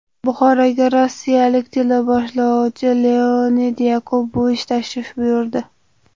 Buxoroga rossiyalik teleboshlovchi Leonid Yakubovich tashrif buyurdi.